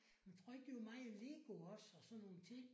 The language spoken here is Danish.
Men tror ikke det var meget Lego også og sådan nogle ting?